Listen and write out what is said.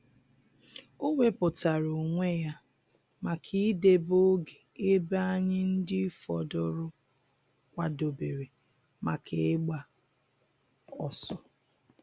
O wepụtara onwe ya maka idebe oge ebe anyị ndị fọdụrụ kwadobere maka ịgba ọsọ